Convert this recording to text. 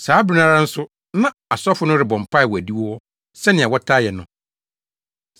Saa bere no ara nso na asafo no rebɔ mpae wɔ adiwo hɔ sɛnea wɔtaa yɛ no.